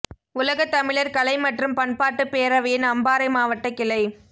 உலகத் தமிழர் கலை மற்றும் பண்பாட்டு பேரவையின் அம்பாரை மாவட்ட கிளை